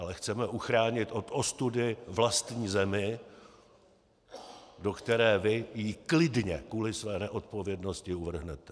Ale chceme uchránit od ostudy vlastní zemi, do které vy ji klidně kvůli své neodpovědnosti uvrhnete.